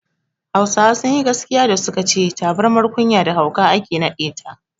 Hausawa sunyi gaskiya da suka ce tabirmar kunya da hauka ake naɗe ta